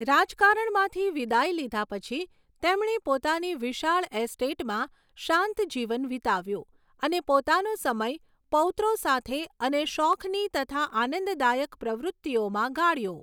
રાજકારણમાંથી વિદાય લીધાં પછી, તેમણે પોતાની વિશાળ એસ્ટેટમાં શાંત જીવન વીતાવ્યું અને પોતાનો સમય પૌત્રો સાથે અને શોખની તથા આનંદદાયક પ્રવૃત્તિઓમાં ગાળ્યો.